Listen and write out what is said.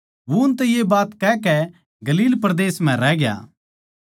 वो उनतै ये बात कहकै गलील परदेस म्ह रहग्या